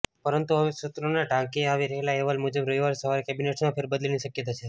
પરંતુ હવે સૂત્રોને ટાંકીને આવી રહેલા અહેવાલ મુજબ રવિવારે સવારે કેબિનેટમાં ફેરબદલની શક્યતા છે